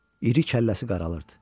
İri kəlləsi qaralırdı.